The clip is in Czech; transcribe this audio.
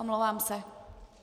Omlouvám se.